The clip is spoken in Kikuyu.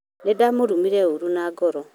nĩndamũrumire ũru na ngoro